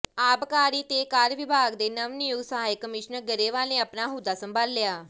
ਆਬਕਾਰੀ ਤੇ ਕਰ ਵਿਭਾਗ ਦੇ ਨਵਨਿਯੁਕਤ ਸਹਾਇਕ ਕਮਿਸ਼ਨਰ ਗਰੇਵਾਲ ਨੇ ਆਪਣਾ ਅਹੁਦਾ ਸੰਭਾਲਿਆ